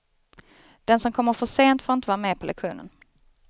Den som kommer för sent får inte vara med på lektionen.